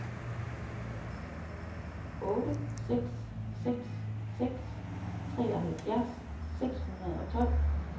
otte seks seks seks treoghalvfjerds seks hundrede og tolv